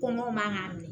Kɔngɔ man kan ka minɛ